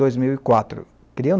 dois mil e quatro. Queriam